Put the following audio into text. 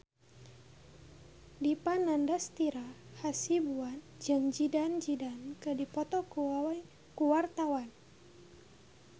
Dipa Nandastyra Hasibuan jeung Zidane Zidane keur dipoto ku wartawan